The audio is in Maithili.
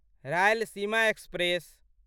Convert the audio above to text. रायलसीमा एक्सप्रेस